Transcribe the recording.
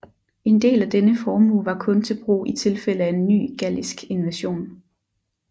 En del af denne formue var kun til brug i tilfælde af en ny gallisk invasion